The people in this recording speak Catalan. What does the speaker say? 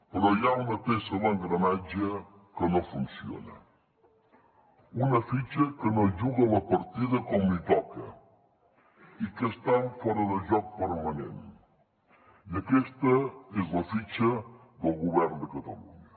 però hi ha una peça a l’engranatge que no funciona una fitxa que no juga la partida com li toca i que està en fora de joc permanent i aquesta és la fitxa del govern de catalunya